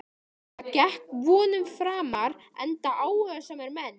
Það gekk vonum framar enda áhugasamir menn.